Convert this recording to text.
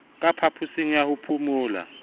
ka phaposing ya ho phomola